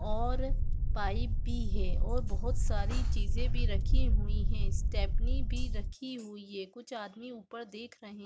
और पाइप भी है और बहुत सारी चीजे रखी हुई है स्टेपनी भी रखी हुई है कुछ आदमी ऊपर देख रहे--